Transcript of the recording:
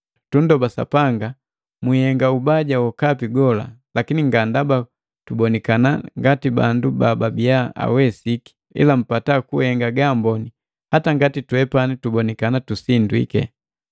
Tundoba Sapanga mwihenga ubaja wokapi gola, lakini nga ndaba tubonikana ngati bandu bababiya awesiki, ila mpata kuhenga gaamboni, hata ngati twepani tubonikana tusindwiki.